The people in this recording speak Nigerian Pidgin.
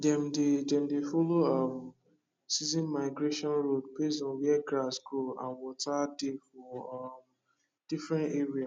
dem dey dem dey follow um season migration road based on where grass grow and water dey for um different area